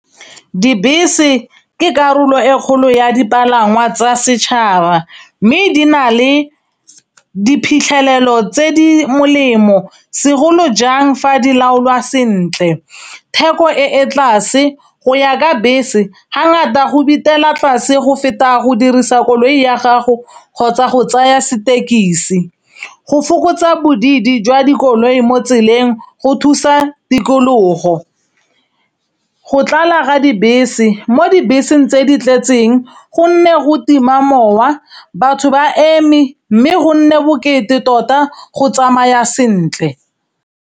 Dibese ke karolo e kgolo ya dipalangwa tsa setšhaba, mme di na le diphitlhelelo tse di molemo segolo jang fa di laolwa sentle. Theko e e tlase go ya ka bese ga ngata go bitela tlase go feta go dirisa koloi ya gago kgotsa go tsaya setekisi. Go fokotsa bodidi jwa dikoloi mo tseleng go thusa tikologo. Go tlala ra dibese mo dibeseng tse di tletseng, gonne go tima mowa batho ba eme, mme go nne bokete tota go tsamaya sentle.